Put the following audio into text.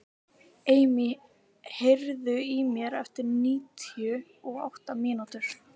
Emý, heyrðu í mér eftir níutíu og átta mínútur.